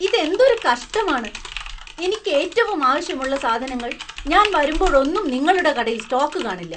ഇത് എന്തൊരു കഷ്ടമാണ്, എനിക്ക് ഏറ്റവും ആവശ്യമുള്ള സാധനങ്ങൾ ഞാൻ വരുമ്പോഴോന്നും നിങ്ങളുടെ കടയിൽ സ്റ്റോക്ക് കാണില്ല.